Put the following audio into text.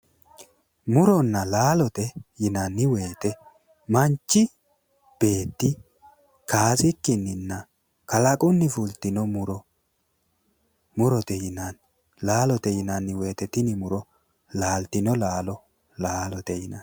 Muronna laalote yinanni woyte manchi beetti kaasikkininna kalaqunni fultino muro murote yinanni laalote yinanni woyte tini muro laaltino laalo laalote yinanni.